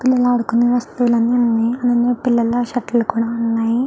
పిల్లలాడుకునే వస్తువులు అని ఉన్నాయి పిల్లా షర్ట్ లు కూడా ఉన్నాయి.